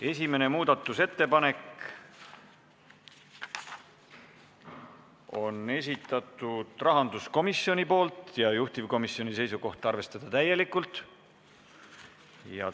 Esimese muudatusettepaneku on esitanud rahanduskomisjon, juhtivkomisjoni seisukoht: arvestada täielikult.